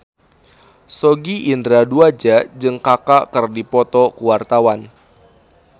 Sogi Indra Duaja jeung Kaka keur dipoto ku wartawan